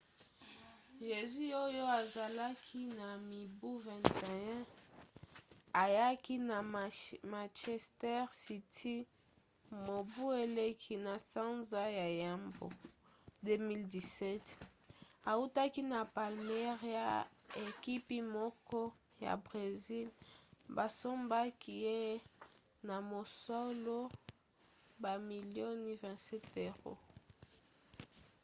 jesus oyo azalaki na mibu 21 ayaki na manchester city mobu eleki na sanza ya yambo 2017 autaki na palmeiras ekipi moko ya bresil basombaki ye na mosolo bamilio 27£